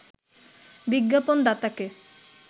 বিজ্ঞাপন দাতাকে